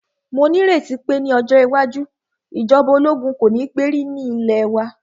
Mó ní ìrètí pé ní ọjọ́ iwájú, ìjọba ológun kò ní gbé rí ní ilẹ̀ wa.